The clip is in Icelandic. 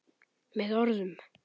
Með orðum.